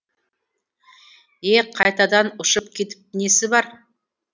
е қайтадан ұшып кетіп несі бар